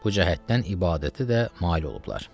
Bu cəhətdən ibadəti də mail olublar.